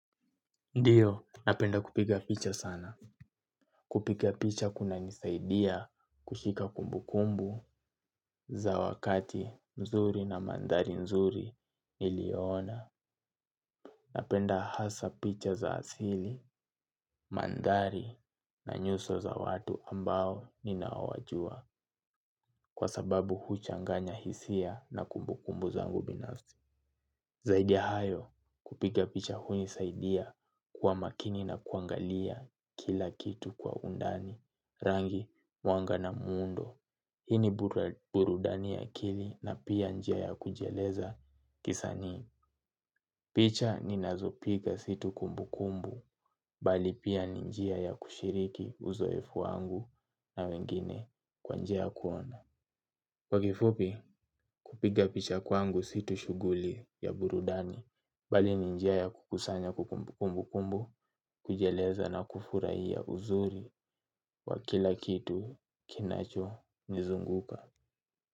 Ndiyo, napenda kupiga picha sana. Kupiga picha kunanisaidia kushika kumbu kumbu za wakati mzuri na mandhari mzuri nilio ona. Napenda hasa picha za asili, mandhari na nyuso za watu ambao ninawajua kwa sababu huchanganya hisia na kumbu kumbu zangu binafsi. Zaidi ya hayo kupiga picha hunisaidia kuwa makini na kuangalia kila kitu kwa undani, rangi, mwanga na muundo. Hii ni burudani ya akili na pia njia ya kujieleza kisani. Picha ninazopiga si tu kumbu kumbu, bali pia ni njia ya kushiriki uzoefu wangu na wengine kwa njia ya kuona. Kwa kifupi kupiga picha kwangu si tu shughuli ya burudani bali ni njia ya kukusanya kumbu kumbu kumbu kujieleza na kufurahia ya uzuri wa kila kitu kinacho nizunguka.